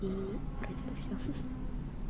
и вроде бы все ха-ха